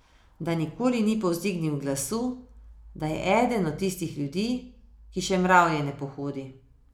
Da nikoli ni povzdignil glasu, da je eden od tistih ljudi, ki še mravlje ne pohodi.